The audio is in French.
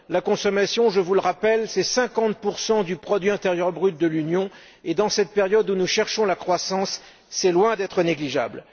La consommation, je vous le rappelle, c'est 50 du produit intérieur brut de l'Union et, dans cette période où nous cherchons la croissance, c'est loin d'être négligeable.